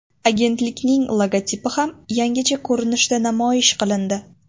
Agentlikning logotipi ham yangicha ko‘rinishda namoyish qilindi .